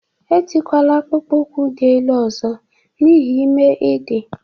E tikwala akpụkpọụkwụ dị ele ọzọ n'ihi ime i dị!